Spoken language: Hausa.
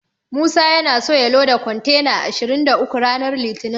Musa yana so ya loda kontena ashirin da uku ranar litinin.